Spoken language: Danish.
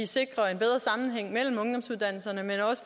sikrer en bedre sammenhæng mellem ungdomsuddannelserne